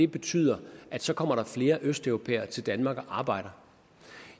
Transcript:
betyder at så kommer der flere østeuropæere til danmark og arbejder